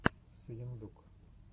сыендук